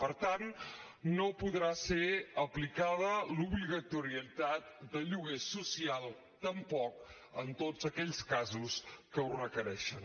per tant no podrà ser aplicada l’obligatorietat de lloguer social tampoc en tots aquells casos que ho requereixen